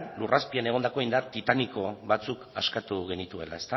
lur azpian egondako indar titaniko batzuk askatu genituela